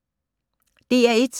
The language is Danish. DR1